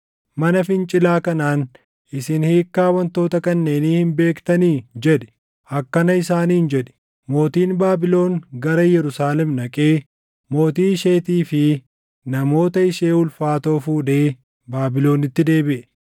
“Mana fincilaa kanaan, ‘Isin hiikkaa wantoota kanneenii hin beektanii?’ jedhi. Akkana isaaniin jedhi: ‘Mootiin Baabilon gara Yerusaalem dhaqee, mootii isheetii fi namoota ishee ulfaatoo fuudhee Baabilonitti deebiʼe.